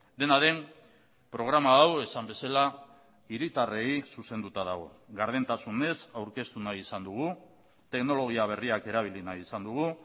dena den programa hau esan bezala hiritarrei zuzenduta dago gardentasunez aurkeztu nahi izan dugu teknologia berriak erabili nahi izan dugu